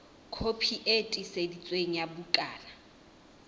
kopi e tiiseditsweng ya bukana